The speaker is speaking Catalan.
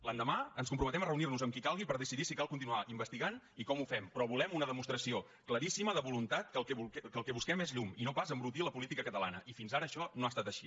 l’endemà ens comprometem a reunir nos amb qui calgui per decidir si cal continuar investigant i com ho fem però volem una demostració claríssima de voluntat que el que busquem és llum i no pas embrutir la política catalana i fins ara això no ha estat així